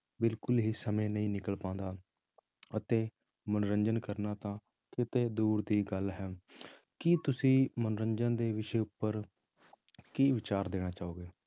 ਬਿਲਕੁਲ ਹੀ ਸਮੇਂ ਨਹੀਂ ਨਿਕਲ ਪਾਉਂਦਾ ਅਤੇ ਮਨੋਰੰਜਨ ਕਰਨਾ ਤਾਂ ਕਿਤੇ ਦੂਰ ਦੀ ਗੱਲ ਹੈ ਕੀ ਤੁਸੀਂ ਮਨੋਰੰਜਨ ਦੇ ਵਿਸ਼ੇ ਉੱਪਰ ਕੀ ਵਿਚਾਰ ਦੇਣਾ ਚਾਹੋਗੇ।